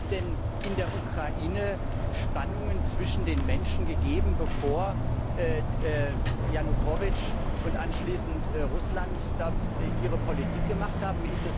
Hat es denn in der Ukraine Spannungen zwischen den Menschen gegeben, bevor Janukowytsch und anschließend Russland dort ihre Politik gemacht haben?